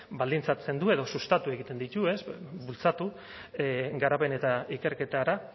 baldintzatzen du edo sustatu egiten ditu bultzatu garapen eta ikerketara